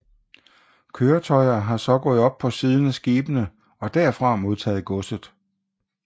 Køretøjer har så gået op på siden af skibene og derfra modtaget godset